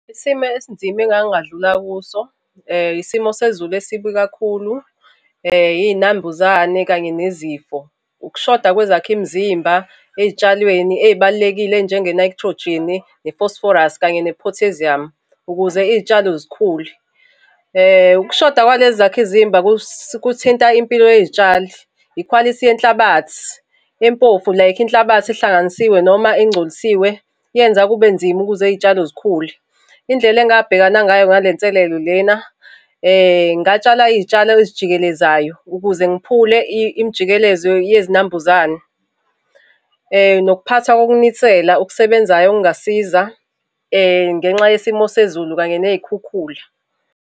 Isimo esinzima engake ngadlula kuso, isimo sezulu esibi kakhulu, iy'nambuzane, kanye nezifo. Ukushoda kwezakhi mzimba ey'tshalweni ey'balulekile njenge-nitrogen, ne-phosphorus kanye ne-potassium, ukuze iy'tshalo zikhule. Ukushoda kwalezi zakhi zimba kuthinta impilo yey'tshalo, ikhwalithi yenhlabathi, impofu like inhlabathi ehlanganisiwe noma egcolisiwe, yenza kube nzima ukuze iy'tshalo zikhule. Indlela engabhekana ngayo nale nselelo lena, ngatshala iy'tshalo ezijikelezayo ukuze ngiphule imijikelezo yezinambuzane. Nokuphatha kokunisela okusebenzayo okungasiza, ngenxa yesimo sezulu kanye ney'khukhula.